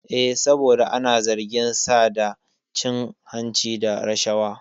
Eh, saboda ana zargin sa da cin hanci da rashawa